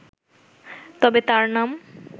তবে তাঁর নাম